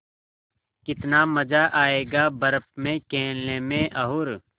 कितना मज़ा आयेगा बर्फ़ में खेलने में और